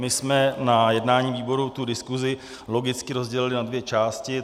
My jsme na jednání výboru tu diskusi logicky rozdělili na dvě části.